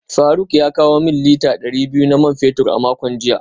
Faruk ya kawo min lita dari biyu na man fetur a makon jiya